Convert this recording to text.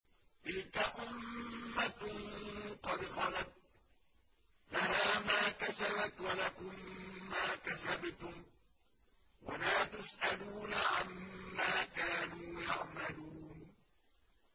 تِلْكَ أُمَّةٌ قَدْ خَلَتْ ۖ لَهَا مَا كَسَبَتْ وَلَكُم مَّا كَسَبْتُمْ ۖ وَلَا تُسْأَلُونَ عَمَّا كَانُوا يَعْمَلُونَ